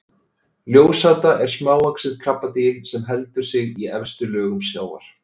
ljósáta er smávaxið krabbadýr sem heldur sig í efstu lögum sjávar